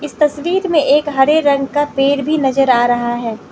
तस्वीर में एक हरे रंग का पेड़ भी नजर आ रहा है।